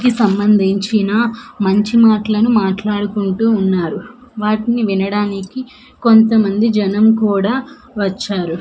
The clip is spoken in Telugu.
సంబందించినా మంచి మాట్లను మాట్లాడుకుంటూ ఉన్నారు వాటిని వినడానికి కొంత మంది జనం కుడా వచ్చారు.